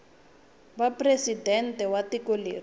va presidente wa tiko leri